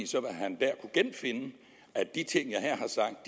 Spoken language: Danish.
så vil han der kunne genfinde de ting jeg her